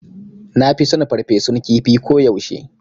Nafi son ferfesun kifi ko yaushe